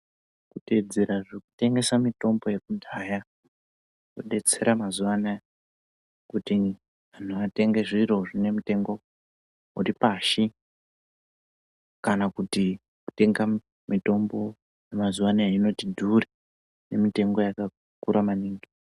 Kuteedzera zvekutengesa mitombo yekudhaya kwodetsera mazuwa anaya kuti anhu atenge zviro zvinemitengo uripashi kana kuti kutenga mitombo yemazuwa anaya inoti dhure nemitengo yakakura maningi.